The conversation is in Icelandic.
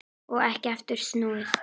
Og ekki aftur snúið.